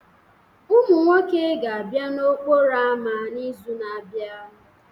Ụmụ nwoke ga-abịa n'okporo ámá n'izu na-abịa